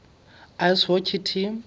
ice hockey team